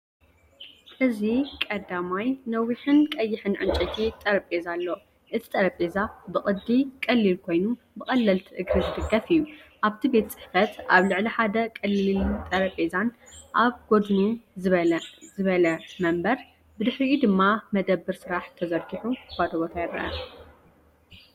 እዚ ቀዳማይ፡ ነዊሕን ቀይሕን ዕንጨይቲ ጠረጴዛ ኣሎ። እቲ ጠረጴዛ ብቅዲ ቀሊል ኮይኑ ብቐለልቲ እግሪ ዝድገፍ እዩ። ኣብቲ ቤት ጽሕፈት፡ ኣብ ልዕሊ ሓደ ቀሊልን ጠረጴዛ፡ ኣብ ጎድኑ ዝበለ መንበር፡ ብድሕሪኡ ድማ መደበር ስራሕ ተዘርጊሑ ባዶ ቦታ ይርአ።